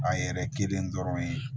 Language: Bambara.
A yɛrɛ kelen dɔrɔn ye